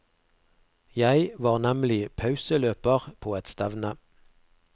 Jeg var nemlig pauseløper på et stevne.